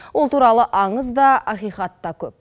ол туралы аңыз да ақиқат та көп